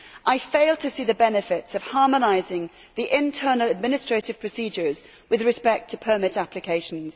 I fail to see the benefits of harmonising the internal administrative procedures with respect to permanent applications.